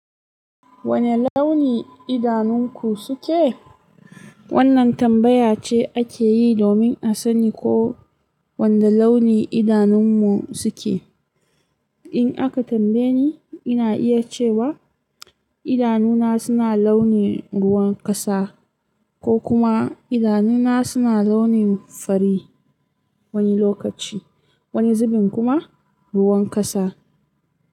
Wane launi idanunku suke? Wannan tambaya ce ake yi domin a sani ko wanne launi idanunmu suke. In aka tambaye ni, ina iya cewa idanuna suna launin ruwan kasa ko kuma idanuna suna launin fari wani lokaci, wani zubin kuma ruwan kasa.